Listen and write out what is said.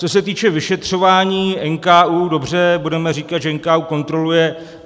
Co se týče vyšetřování NKÚ, dobře, budeme říkat, že NKÚ kontroluje.